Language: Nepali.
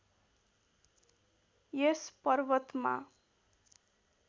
यस पर्वतमा